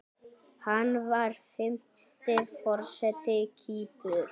Hann var fimmti forseti Kýpur.